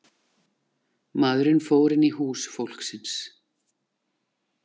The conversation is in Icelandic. Maðurinn fór inn í hús fólksins